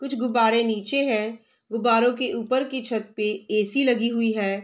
कुछ गुब्बारे नीचे है गुब्बारों के ऊपर की छत पे ए.सी. लगी हुई है ।